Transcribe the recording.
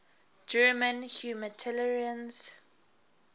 german humanitarians